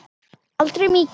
En aldrei mikið.